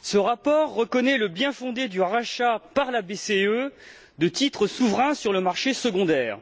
Ce rapport reconnaît le bien fondé du rachat, par la BCE, de titres souverains sur le marché secondaire,